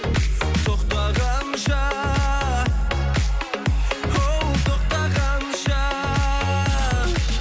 тоқтағанша оу тоқтағанша